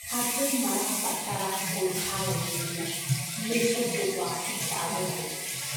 Andũ marabatara kwĩharĩrĩria nĩ ũndũ wa ũcagũrani.